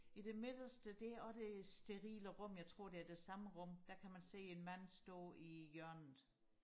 i det midterste det er også det sterile rum jeg tror det er det samme rum der kan man se en mand stå i hjørnet